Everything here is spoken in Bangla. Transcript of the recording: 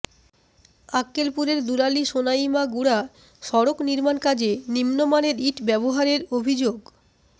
আক্কেলপুরের দুলালী সোনাইমাগুড়া সড়ক নির্মাণকাজে নিম্নমানের ইট ব্যবহারের অভিযোগ